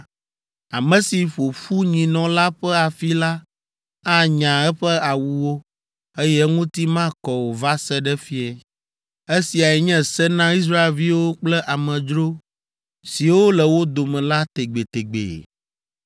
Ame si ƒo ƒu nyinɔ la ƒe afi la anya eƒe awuwo, eye eŋuti makɔ o va se ɖe fiẽ. Esia nye se na Israelviwo kple amedzro siwo le wo dome la tegbetegbe.